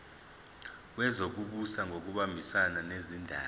wezokubusa ngokubambisana nezindaba